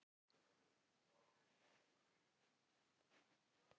Mér finnst til skammar að horfa upp á þetta.